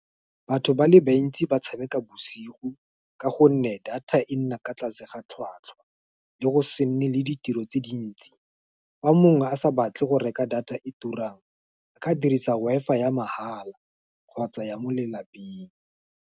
Batho ba le bantsi ba tshameka bosigo, ka gonne data e nna kwa tlase ga tlhwatlhwa, le go se nne le ditiro tse dintsi, fa mongwe a sa batle go reka data e turang, ba ka dirisa WI_FI ya mahala, kgotsa ya mo lelapeng.